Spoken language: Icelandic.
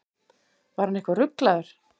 Var hann eitthvað ruglaður?